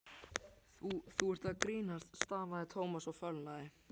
Þú- þú ert að grínast stamaði Thomas og fölnaði.